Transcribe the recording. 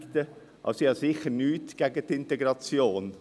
ich habe also sicher nichts gegen die Integration.